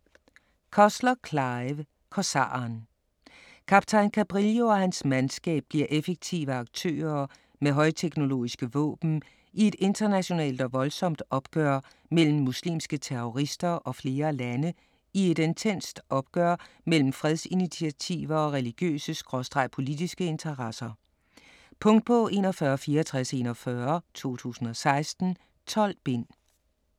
Cussler, Clive: Korsaren Kaptajn Cabrillo og hans mandskab bliver effektive aktører med højteknologiske våben i et internationalt og voldsomt opgør mellem muslimske terrorister og flere lande i et intenst opgør mellem fredsinitiativer og religiøse/politiske interesser. Punktbog 416441 2016. 12 bind.